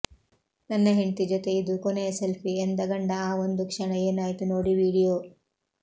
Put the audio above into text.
ನನ್ನ ಹೆಂಡ್ತಿ ಜೊತೆ ಇದು ಕೊನೆಯ ಸೆಲ್ಪಿ ಎಂದ ಗಂಡ ಆ ಒಂದು ಕ್ಷಣ ಏನಾಯ್ತು ನೋಡಿ ವಿಡಿಯೋ